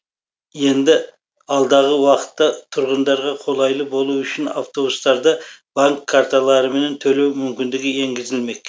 енді алдағы уақытта тұрғындарға қолайлы болуы үшін автобустарда банк карталырымен төлеу мүмкіндігі енгізілмек